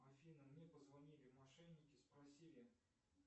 афина мне позвонили мошенники спросили